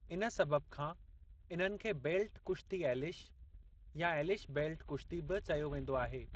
इन सबबि खां इन्हनि खे 'बेल्ट कुश्ती एलिश' या 'एलिश बेल्ट कुश्ती' बि चयो वेंदो आहे।